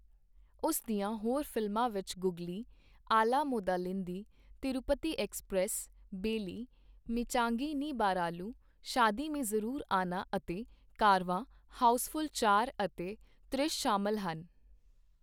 ਉਸ ਦੀਆਂ ਹੋਰ ਫਿਲਮਾਂ ਵਿੱਚ 'ਗੁਗਲੀ', 'ਆਲਾ ਮੋਦਾਲਿੰਦੀ', 'ਤਿਰੂਪਤੀ ਐਕਸਪ੍ਰੈਸ', 'ਬੇਲੀ', 'ਮਿੰਚਾਗੀ ਨੀ ਬਾਰਾਲੂ', 'ਸ਼ਾਦੀ ਮੇਂ ਜ਼ਰੂਰ ਆਨਾ' ਅਤੇ 'ਕਾਰਵਾਂ', 'ਹਾਊਸਫੁੱਲ ਚਾਰ' ਅਤੇ 'ਤ੍ਰਿਸ਼' ਸ਼ਾਮਲ ਹਨ।